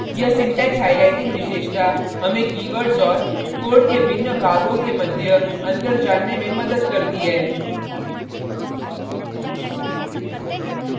यह syntax highlighting विशेषता हमें कीवर्डस और code के भिन्न भागों के मध्य अंतर जानने में मदद करती है